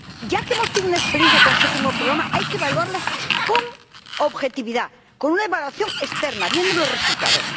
Ya que hemos tenido una experiencia con el Séptimo Programa, hay que evaluarlas con objetividad, con una evaluación externa, viendo los resultados.